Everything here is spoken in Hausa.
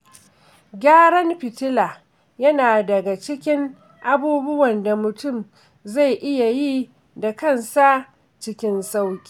Gyaran fitila yana daga cikin abubuwan da mutum zai iya yi da kansa cikin sauƙi.